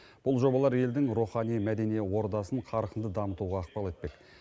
бұл жобалар елдің рухани мәдени ордасын қарқынды дамытуға ықпал етпек